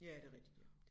Ja ja det rigtigt ja